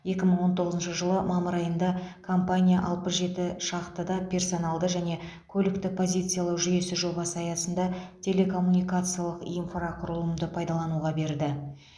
екі мың он тоғызыншы жылы мамыр айында компания алпыс жеті шахтада персоналды және көлікті позициялау жүйесі жобасы аясында телекоммуникациялық инфрақұрылымды пайдалануға берді